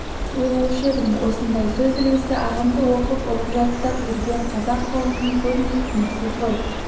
ойлаушы едім осындай сөз үлгісі ағамды оқып ұғып жаттап жүрген қазақ қауымының көбіне түсініксіз ғой